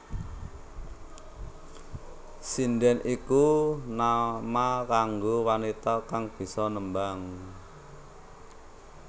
Sindhèn iku nama kanggo wanita kang bisa nembang